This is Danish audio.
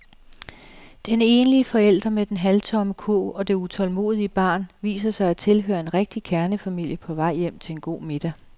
Den enlige forælder med den halvtomme kurv og det utålmodige barn viser sig at tilhøre en rigtig kernefamilie på vej hjem til en god middag.